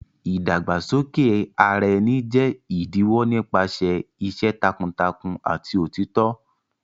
Ìdàgbàsókè ara ẹni jẹ́ ìdíwọ́ nípasẹ̀ iṣẹ́ takuntakun àti òtítọ́.